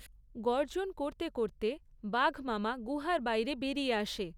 গর্জন করতে করতে বাঘমামা গুহার বাইরে বেরিয়ে আসে।